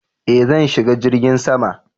Eh zan shiga jirgin sama